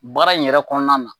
Baara in yɛrɛ kɔnɔna na